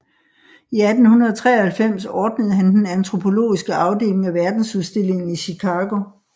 I 1893 ordnede han den antropologiske afdeling af Verdensudstillingen i Chicago